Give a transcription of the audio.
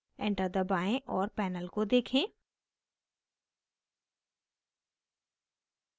enter दबाएं और panel को देखें